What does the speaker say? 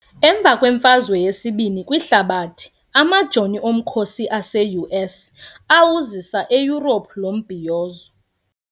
Emva kweMfazwe yesiBini kwiHlabathi, Amajoni omkhosi ase-US awuzisa eEurope lo mbhiyozo.